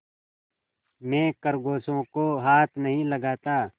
मैं खरगोशों को हाथ नहीं लगाता